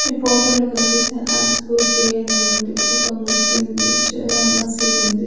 ఈ పోటోలో కనిపిస్తే అజ్పూర్ జె ఎన్ అనుంది ఒక ముస్లింది మసీదుంది .